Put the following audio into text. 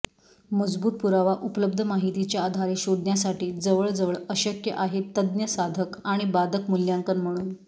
मजबूत पुरावा उपलब्ध माहितीच्या आधारे शोधण्यासाठी जवळजवळ अशक्य आहे तज्ञ साधक आणि बाधक मूल्यांकन म्हणून